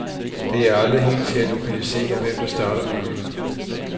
Det er aldrig helt til at lokalisere, hvem der starter bølgen.